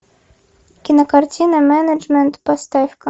кинокартина менеджмент поставь ка